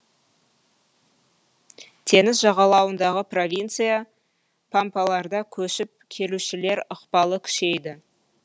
теңіз жағалауындағы провинция пампаларда көшіп келушілер ықпалы күшейді